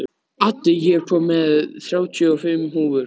Addi, ég kom með þrjátíu og fimm húfur!